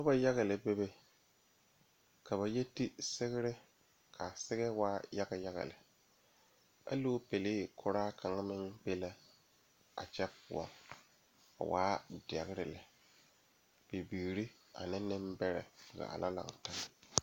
Noba yaga lɛ bebe ka ba e te sigre konpita ane kõɔ banyuure peɛle la biŋ die poɔ ka nensaala nu a saa kaa bonsɛgra a meŋ bibiiri ane Nenbɛre zaa lantaa.